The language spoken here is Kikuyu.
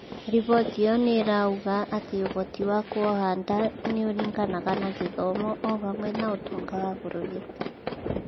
Riboti ĩyo nĩirauga atĩ ũhoti wa kuoha nda nĩ ũringanaga na gĩthomo o hamwe na ũtonga wa bũrũri